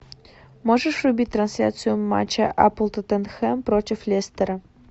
можешь врубить трансляцию матча апл тоттенхэм против лестера